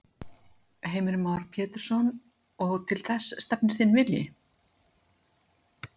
Heimir Már Pétursson: Og til þess stefnir þinn vilji?